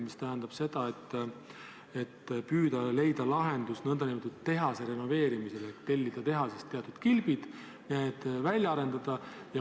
See tähendab seda, et püütakse leida lahendust nõndanimetatud tehaserenoveerimisele: tellida tehasest teatud kilbid, need välja arendada.